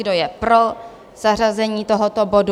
Kdo je pro zařazení tohoto bodu?